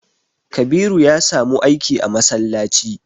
Kabiru ya samu aiki a masallaci.